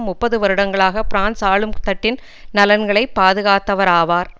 முப்பது வருடங்களாக பிரான்சு ஆளும்தட்டின் நலன்களை பாதுகாத்தவராவார்